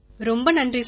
ரொம்ப நன்றி சார்